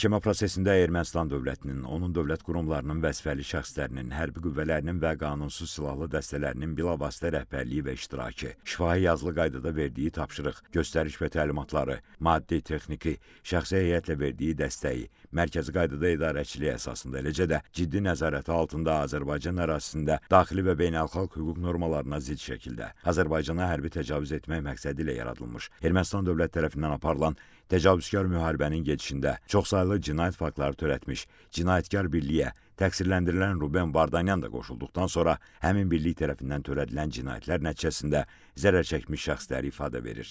Məhkəmə prosesində Ermənistan dövlətinin, onun dövlət qurumlarının vəzifəli şəxslərinin, hərbi qüvvələrinin və qanunsuz silahlı dəstələrinin bilavasitə rəhbərliyi və iştirakı, şifahi yazılı qaydada verdiyi tapşırıq, göstəriş və təlimatları, maddi-texniki, şəxsi heyətlə verdiyi dəstəyi, mərkəzi qaydada idarəçiliyi əsasında, eləcə də ciddi nəzarəti altında Azərbaycan ərazisində daxili və beynəlxalq hüquq normalarına zidd şəkildə Azərbaycana hərbi təcavüz etmək məqsədi ilə yaradılmış Ermənistan dövlət tərəfindən aparılan təcavüzkar müharibənin gedişində çoxsaylı cinayət faktları törətmiş cinayətkar birliyə təqsirləndirilən Ruben Vardanyan da qoşulduqdan sonra həmin birlik tərəfindən törədilən cinayətlər nəticəsində zərərçəkmiş şəxslər ifadə verir.